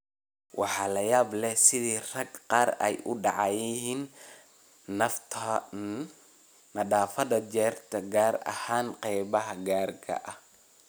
“Waxaa la yaab leh sida ragga qaar ay u dayacan yihiin nadaafadda jireed, gaar ahaan qeybaha gaarka ah.